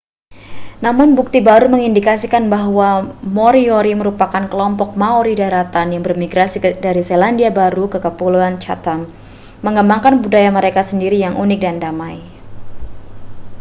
namun bukti baru mengindikasikan bahwa moriori merupakan kelompok maori daratan yang bermigrasi dari selandia baru ke kepulauan chatham mengembangkan budaya mereka sendiri yang unik dan damai